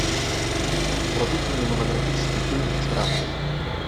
вруби кинематографический фильм вчера